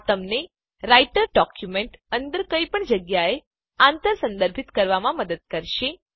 આ તેમને writer document અંદર કઈપણ જગ્યાએ આંતર સંદર્ભિત કરવામાં મદદ કરશે